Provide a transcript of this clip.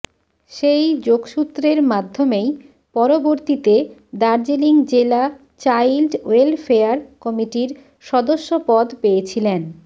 সেই যোগসূত্রের মাধ্যমেই পরবর্তীতে দার্জিলিং জেলা চাইল্ড ওয়েলফেয়ার কমিটির সদস্য পদ পেয়েছিলেন